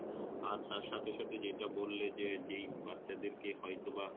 আর তার সাথে সাথে যেটা বললে যে যেই বাচ্চাদের কে হয়তোবা